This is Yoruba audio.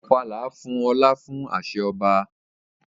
Ofala fún ọlá fún àṣẹ ọba.